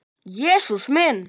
Jesús minn!